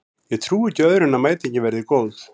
Ég trúi ekki öðru en að mætingin verði góð.